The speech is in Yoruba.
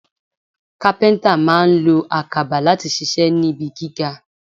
Kápẹ́ńtà máa lo àkàbà láti ṣiṣẹ́ níbi gíga.